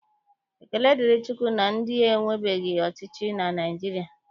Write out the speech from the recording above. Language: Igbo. Ekele dịrị Chukwu na ndị ewerebeghị ọchịchị na Naịjirịa